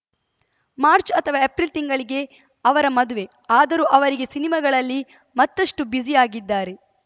March ಅಥವಾ April ತಿಂಗಳಿಗೆ ಅವರ ಮದುವೆ ಆದರೂ ಅವರೀಗೆ ಸಿನಿಮಾಗಳಲ್ಲಿ ಮತ್ತಷ್ಟುಬ್ಯುಸಿ ಆಗಿದ್ದಾರೆ